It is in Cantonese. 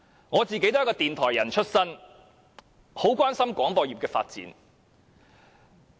我自己也是電台出身，很關心廣播業的發展。